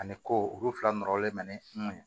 Ani ko olu fila nɔrɔlen bɛ ne ɲɔn ye